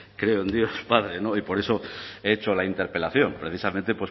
creo en dios padre y por eso he hecho la interpelación precisamente